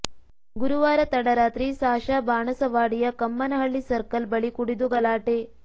ಗುರುವಾರ ತಡರಾತ್ರಿ ಸಾಶಾ ಬಾಣಸವಾಡಿಯ ಕಮ್ಮನಹಳ್ಳಿ ಸರ್ಕಲ್ ಬಳಿ ಕುಡಿದು ಗಲಾಟೆ